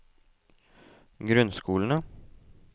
grunnskolene